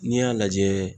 N'i y'a lajɛ